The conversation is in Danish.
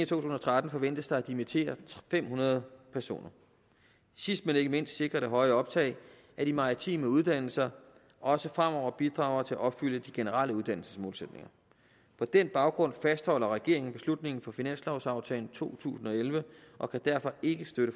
tusind og tretten forventes der at dimittere fem hundrede personer sidst men ikke mindst sikrer det høje optag at de maritime uddannelser også fremover bidrager til at opfylde de generelle uddannelsesmålsætninger på den baggrund fastholder regeringen beslutningen fra finanslovaftalen for to tusind og elleve og kan derfor ikke støtte